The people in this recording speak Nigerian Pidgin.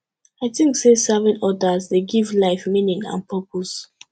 i think say serving others dey give life meaning and purpose